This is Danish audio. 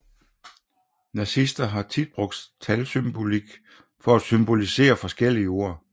Nazister har tit brugt talsymbolik for at symbolisere forskellige ord